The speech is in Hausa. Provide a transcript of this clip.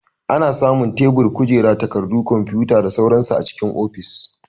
Ana samun tebur, kujera, takarɗu, kwamfuta da sauran su a cikin ofis.